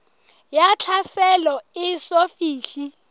ya tlhaselo e eso fihle